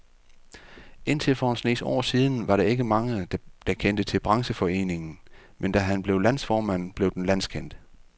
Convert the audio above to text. Indtil for en snes år siden var der ikke mange, der kendte til brancheforeningen, men da han blev landsformand, blev den landskendt.